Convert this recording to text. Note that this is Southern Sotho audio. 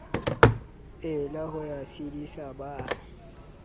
ela ho ya tshedisa ba